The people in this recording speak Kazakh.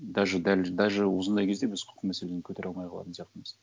даже дәл даже осындай кезде біз құқық мәселені көтере алмай қалатын сияқтымыз